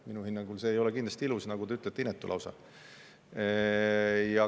Minu hinnangul ei ole see kindlasti ilus, vaid, nagu te ütlete, lausa inetu.